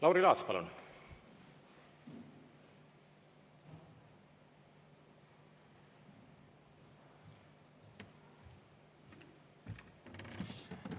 Lauri Laats, palun!